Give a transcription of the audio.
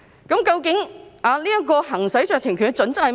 究竟行使酌情權的準則為何？